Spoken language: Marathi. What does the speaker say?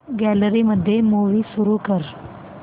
गॅलरी मध्ये मूवी सुरू कर